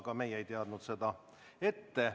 Ka meie ei teadnud seda ette.